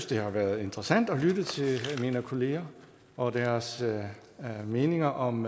det har været interessant at lytte til mine kolleger og deres meninger om